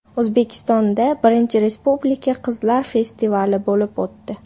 O‘zbekistonda I Respublika qizlar festivali bo‘lib o‘tdi.